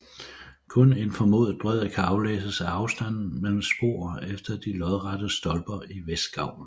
Kun en formodet bredde kan aflæses af afstanden mellem spor efter de lodrette stolper i vestgavlen